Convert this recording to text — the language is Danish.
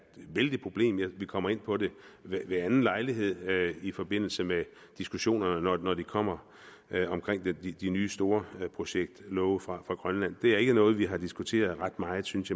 vældigt problem vi kommer ind på det ved anden lejlighed i forbindelse med diskussionerne når de kommer omkring de de nye storprojektlove fra grønland det er ikke noget vi har diskuteret ret meget synes